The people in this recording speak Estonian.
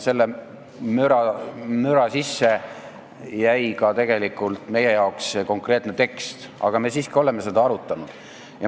Selle müra sisse jäi ka meie jaoks see konkreetne tekst, aga me oleme seda siiski arutanud.